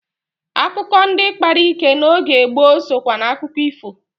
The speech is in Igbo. Akukọ ndị kpara ike n'oge gboo sokwa n'akụkọ ifo.